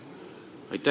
Aitäh!